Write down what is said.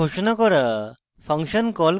function ঘোষণা করা